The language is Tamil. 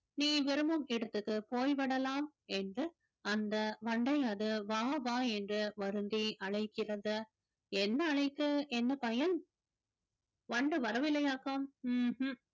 நீ விரும்பும் இடத்துக்கு போய்விடலாம் என்று அந்த வண்டை அது வா வா என்று வருந்தி அழைக்கிறது என்ன அழைத்து என்ன பயன் வண்டு வரவில்லையாக்கும் உம் உம்